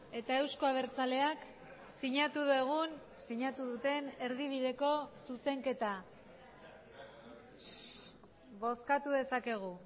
eta euzko abertzaleak sinatu dugun sinatu duten erdibideko zuzenketa bozkatu dezakegu